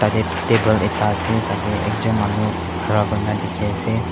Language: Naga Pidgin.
lap table ekta ase tate ekjon manu khara kuri ne dikhi ase.